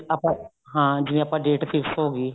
ਆਪਾਂ ਹਾਂ ਜਿਵੇਂ ਆਪਾਂ date fix ਹੋ ਗਈ